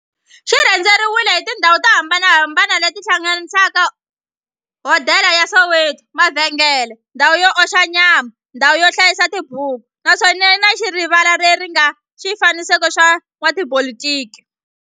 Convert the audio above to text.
Xi rhendzeriwile hi tindhawu to hambanahambana le ti hlanganisaka, hodela ya Soweto, mavhengele, ndhawu yo oxa nyama, ndhawu yo hlayisa tibuku, naswona yi na rivala le ri nga na swifanekiso swa vo n'watipolitiki.